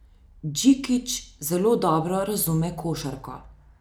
Džikić zelo dobro razume košarko.